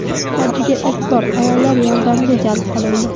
Hajga ilk bor ayollar yordamga jalb qilindi.